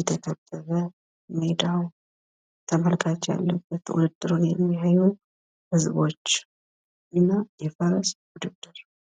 የተከበበ ሜዳው ተመልካች ያለበት ውድድሩን የሚያዩ ህዝቦች እና የፈረስ ውድድር